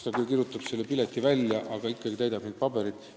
Ta küll kirjutab selle pileti välja, aga ikkagi täidab neid pabereid.